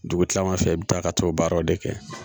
Dugu kilala fɛ i bɛ taa ka t'o baaraw de kɛ